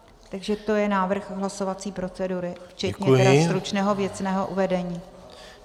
Takže to je návrh hlasovací procedury, včetně tedy stručného věcného uvedení.